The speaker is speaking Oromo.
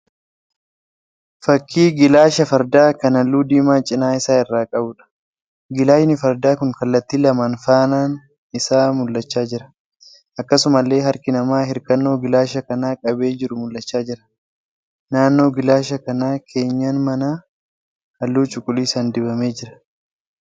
Fakkii gilaasha fardaa kan halluu diimaa cina isaa irraa qabuudha. Gilaashni fardaa kun kallatti lamaan faanaan isaa mul'achaa jira. Akkasumallee harki namaa hirkannoo gilaasha kanaa qabee jiru mul'achaa jira. Naannoo gilaasha kanaa keenyan manaa halluu cuquliisaan dibamee jira.